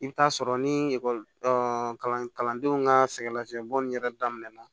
I bɛ t'a sɔrɔ ni ekɔli kalandenw ka sɛgɛnnafiɲɛbɔ in yɛrɛ daminɛna